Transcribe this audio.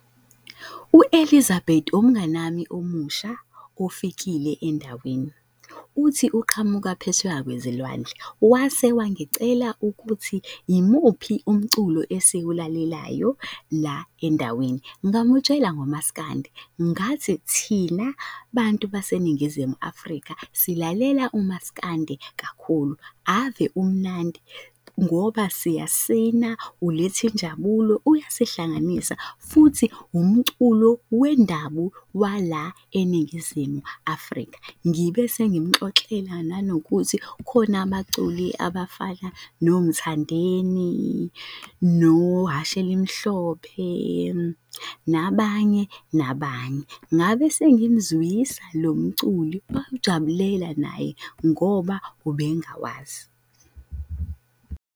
U-Elizabeth umnganami omusha ofikile endaweni. Uthi uqhamuka phesheya kwezilwandle, wase wangicela ukuthi imuphi umculo esiwulalelayo la endaweni? Ngamutshela ngo maskandi, ngathi thina bantu baseNingizimu Afrika silalela umasikandi kakhulu ave umnandi, ngoba siyasina uletha injabulo uyasihlanganisa futhi umculo wendabu wala eNingizimu Afrika. Ngibe sengimuxoxela nanokuthi khona abaculi abafana noMthandeni, noHhashi elimhlophe, nabanye, nabanye. Ngabe sengimzwisa lo mculi wawujabulela naye ngoba ubengawazi.